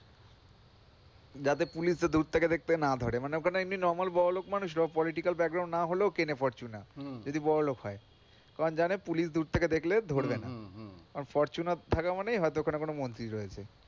যাতে police দূর থেকে দেখতে না পারে না ওখানে nor বড়লোক মানুষ রা political যদি বড়লোক হয় কারণ জানে পুলিশ দূর থেকে দেখলে দেখবে না ফরচুনা থাকা মানে হয়তো ওখানে কোন মন্ত্রী রয়েছে,